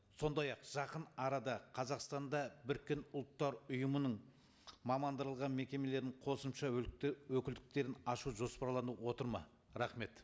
сондай ақ жақын арада қазасқтанда біріккен ұлттар ұйымының мамандырылған мекемелерінің қосымша өкілдіктерін ашу жоспарланып отыр ма рахмет